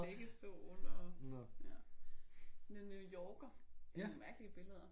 Liggestol og ja men New Yorker. Det er nogle mærkelige billeder